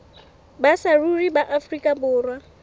ba saruri ba afrika borwa